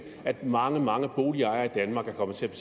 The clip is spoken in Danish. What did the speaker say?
at mange mange boligejere i danmark er kommet til at